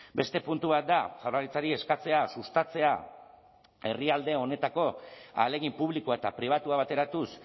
beste puntu bat da jaurlaritzari eskatzea sustatzea herrialde honetako ahalegin publikoa eta pribatua bateratuz